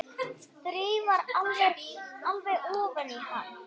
Þreifar alveg ofan í hann.